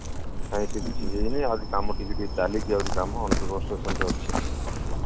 ଆଉ ସେ କିଛି ହେଇନି ଆହୁରି କମ ଟିକେ ଟିକେ ଚାଲିଛି ଆହୁରି କାମ on the construction ରେ ଅଛି